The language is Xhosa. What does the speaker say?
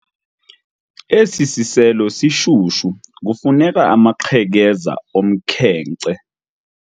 Esi siselo sishushu kufuneka amaqhekeza omkhenkce.